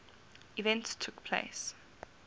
events took place